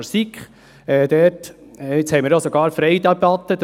der SiK. Dort führen wir sogar eine freie Debatte.